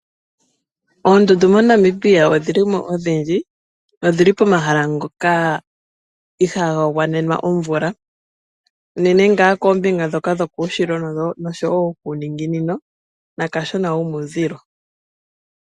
Oondundu MoNamibia odhili mo odhindji. Odhili pomahala ngoka ihaaga gwanena omvula. Unene nga koombinga ndhoka dhokuuninginino, kuushilo, naka shona muuzilo.